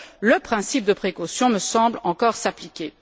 Le principe de précaution me semble donc encore s'appliquer.